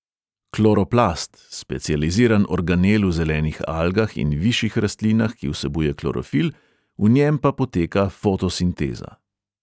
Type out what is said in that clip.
Kloroplast – specializiran organel v zelenih algah in višjih rastlinah, ki vsebuje klorofil, v njem pa poteka fotosinteza.